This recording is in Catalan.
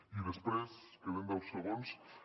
i després queden deu segons